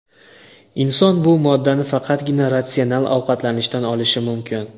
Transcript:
Inson bu moddani faqatgina ratsional ovqatlanishdan olishi mumkin.